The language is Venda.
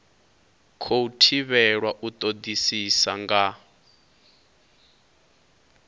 khou thivhelwa u todisisa nga